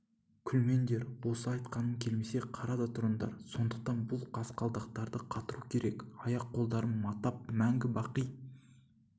күлмеңдер осы айтқаным келмесе қара да тұрыңдар сондықтан бұл қасқалдақтарды қатыру керек аяқ-қолдарын матап мәңгі-бақи